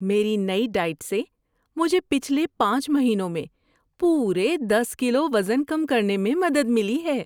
میری نئی ڈائٹ سے مجھے پچھلے پانچ مہینوں میں پورے دس کلو وزن کم کرنے میں مدد ملی ہے۔